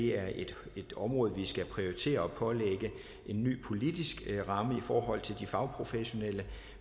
er et et område vi skal prioritere at pålægge en ny politisk ramme i forhold til de fagprofessionelle